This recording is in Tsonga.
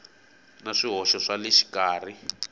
na swihoxo swa le xikarhi